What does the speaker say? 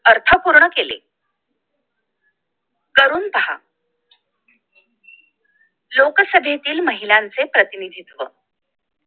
अर्थपूर्ण केले करून पहा लोकसभेतील महिलांचे प्रतिनिधित्व